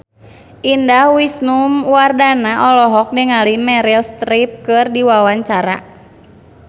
Indah Wisnuwardana olohok ningali Meryl Streep keur diwawancara